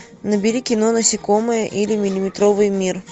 набери кино насекомые или миллиметровый мир